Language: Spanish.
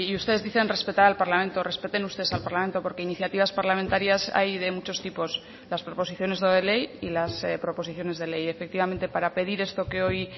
ustedes dicen respetar al parlamento respeten ustedes al parlamento porque iniciativas parlamentarias hay de muchos tipos las proposiciones no de ley y las proposiciones de ley efectivamente para pedir esto que hoy